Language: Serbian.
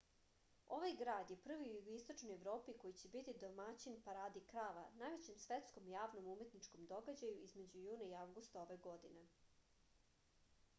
ovaj grad je prvi u jugoistočnoj evropi koji će biti domaćin paradi krava najvećem svetskom javnom umetničkom događaju između juna i avgusta ove godine